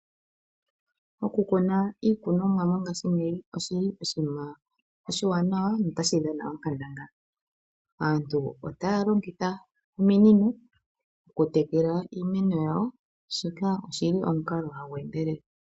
Oku kuna iikunomwa mongashiingeyi oshi li oshinima oshi wanawa nota shi dhana onkandangala. Aantu otaya longitha ominino oku tekela iimeno yawo. Shika oshi li omukalo hagu endelele.